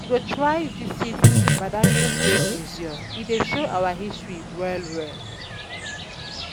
We go try visit badagary Slave Museum, e dey show our history well-well.